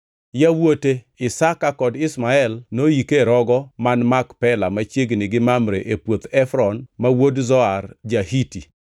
Yawuot, Isaka kod Ishmael noyike e rogo man Makpela machiegni gi Mamre e puoth Efron ma wuod Zohar ja-Hiti,